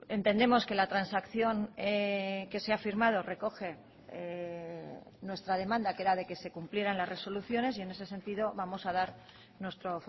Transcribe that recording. entendemos que la transacción que se ha firmado recoge nuestra demanda que era de que se cumplieran las resoluciones y en ese sentido vamos a dar nuestro